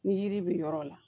Ni yiri bɛ yɔrɔ la